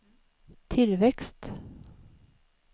tillväxt